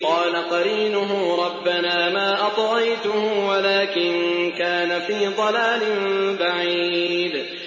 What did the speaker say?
۞ قَالَ قَرِينُهُ رَبَّنَا مَا أَطْغَيْتُهُ وَلَٰكِن كَانَ فِي ضَلَالٍ بَعِيدٍ